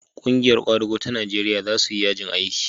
ƙungiyar kwadago ta Najeriya za su yi yajin aiki